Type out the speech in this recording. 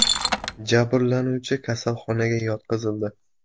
Jabrlanuvchi kasalxonaga yotqizildi.